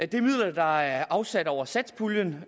det er midler der er afsat over satspuljen